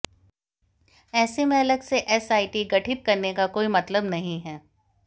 ऐसे में अलग से एसआईटी गठित करने का कोई मतलब नहीं है